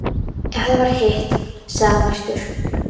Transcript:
Ef það var hitt, sagði hann æstur: